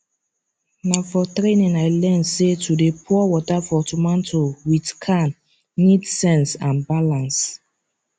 na for training i learn say to dey pour water for tomato with can need sense and balance